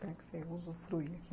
Como é que você usufrui aqui?